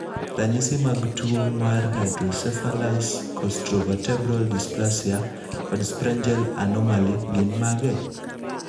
Ranyisi mag tuwo mar Hydrocephalus costovertebral dysplasia, kod Sprengel anomaly gin mage?